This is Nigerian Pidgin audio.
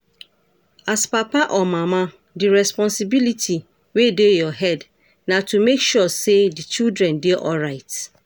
As papa or mama, di responsibility wey dey your head na to make sure sey di children dey alright